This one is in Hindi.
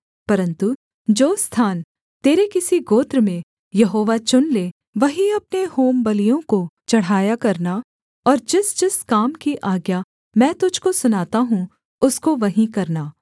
परन्तु जो स्थान तेरे किसी गोत्र में यहोवा चुन ले वहीं अपने होमबलियों को चढ़ाया करना और जिसजिस काम की आज्ञा मैं तुझको सुनाता हूँ उसको वहीं करना